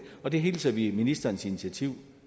og der hilser vi ministerens initiativ